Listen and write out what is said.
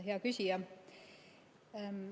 Hea küsija!